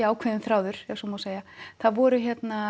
ákveðinn þráður ef svo má segja það voru